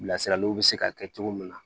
Bilasiraliw bɛ se ka kɛ cogo min na